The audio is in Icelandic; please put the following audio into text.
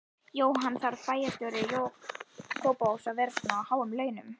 Jóhann: Þarf bæjarstjóri Kópavogs að vera á svona háum launum?